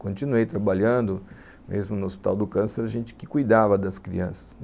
Continuei trabalhando, mesmo no Hospital do Câncer, a gente que cuidava das crianças.